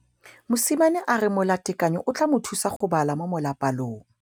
Mosimane a re molatekanyô o tla mo thusa go bala mo molapalong.